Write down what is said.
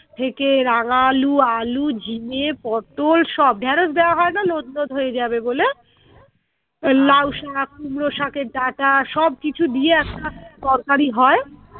থেকে রাঙা আলু আলু ঝিঙে পটল সব ঢ্যেরস দেওয়া হয় না লোদ লোদ হয়ে যাবে বলে আহ লাউ শাক কুমড়ো শাকের ডাঁটা সবকিছু দিয়ে একটা তরকারি হয়